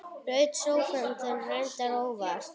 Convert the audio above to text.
Braut sófann þinn, reyndar óvart.